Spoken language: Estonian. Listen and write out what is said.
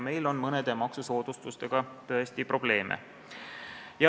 Meil on mõne maksusoodustusega tõesti probleeme.